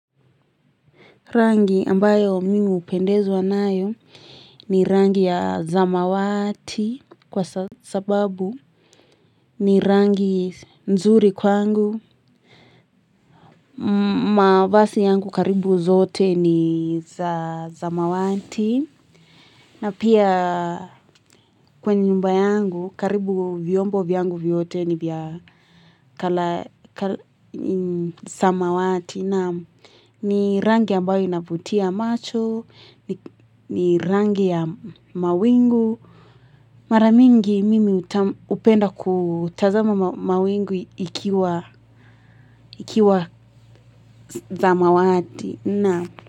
Rangi ambayo mi hupendezwa nayo ni rangi ya zamawati kwa sababu ni rangi nzuri kwangu, mavasi yangu karibu zote ni zamawati. Na pia kwa nyumba yangu karibu vyombo vyangu vyote ni vya colour samawati naam ni rangi ambayo inavutia macho ni rangi ya mawingu mara mingi mi hupenda kutazama mawingu ikiwa ikiwa za mawati.